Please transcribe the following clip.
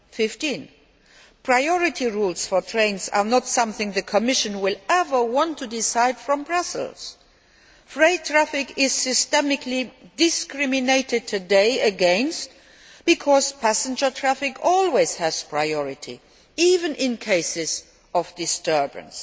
15. Priority rules for trains are not something the Commission will ever want to decide from Brussels. Freight traffic is systemically discriminated against today because passenger traffic always has priority, even in cases of disturbance.